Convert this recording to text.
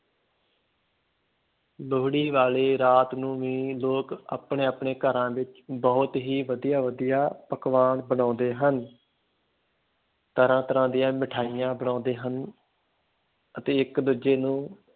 ਲੋਹੜੀ ਵਾਲੀ ਰਾਤ ਨੂੰ ਵੀ ਲੋਕ ਆਪਣੇ ਆਪਣੇ ਘਰਾਂ ਵਿੱਚ ਬਹੁਤ ਹੀ ਵਧੀਆ ਵਧੀਆ ਪਕਵਾਨ ਬਣਾਉਂਦੇ ਹਨ ਤਰ੍ਹਾਂ ਤਰ੍ਹਾਂ ਦੀਆਂ ਮਠਿਆਈਆਂ ਬਣਾਉਂਦੇ ਹਨ ਅਤੇ ਇੱਕ ਦੂਜੇ ਨੂੰ